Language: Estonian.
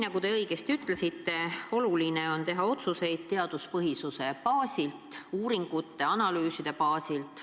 Nagu te õigesti ütlesite, oluline on teha otsuseid teaduspõhisuse baasil, uuringute, analüüside baasil.